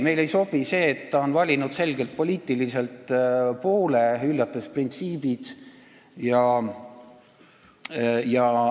Meile ei sobi see, et Laar on valinud selge poliitilise poole, hüljates printsiibid.